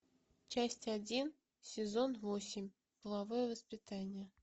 часть один сезон восемь половое воспитание